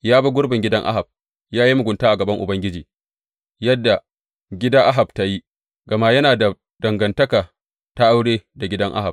Ya bi gurbin gidan Ahab, ya yi mugunta a gaban Ubangiji yadda gida Ahab ta yi, gama yana da dangantaka ta aure da gidan Ahab.